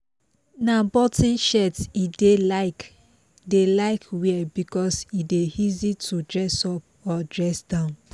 na button shirt e dey like dey like wear because e dey easy to dress up or dress down